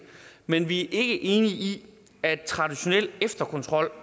men vi er ikke enige i at traditionel efterkontrol